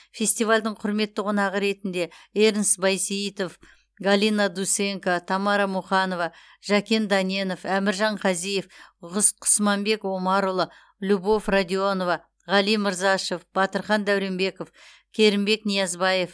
фестивальдің құрметті қонағы ретінде эрнст бейсейітов галина дусенко тамара муханова жәкен дәненов әміржан қазиев құсманбек омарұлы любовь радионова ғали мырзашев батырхан дәуренбеков керімбек ниязбаев